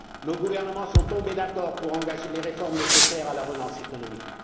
Nos gouvernements sont d'accord pour engager les réformes nécessaires à la relance économique.